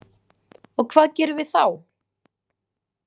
Og hvað gerum við þá?